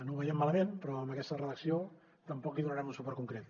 no ho veiem malament però amb aquesta redacció tampoc hi donarem un suport concret